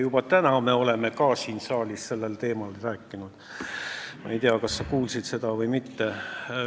Ja me oleme ka juba täna siin saalis sellel teemal rääkinud – ma ei tea, kas sa kuulsid seda või mitte.